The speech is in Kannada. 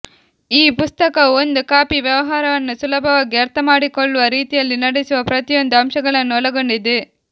ಈ ಪುಸ್ತಕವು ಒಂದು ಕಾಫಿ ವ್ಯವಹಾರವನ್ನು ಸುಲಭವಾಗಿ ಅರ್ಥಮಾಡಿಕೊಳ್ಳುವ ರೀತಿಯಲ್ಲಿ ನಡೆಸುವ ಪ್ರತಿಯೊಂದು ಅಂಶಗಳನ್ನು ಒಳಗೊಂಡಿದೆ